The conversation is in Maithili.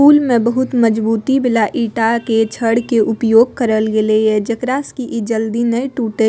पूल में बहुत मजबूती वाला ईटा के छड़ के उपयोग करल गेले या जेकरा से कि इ जल्दी ने टूटे।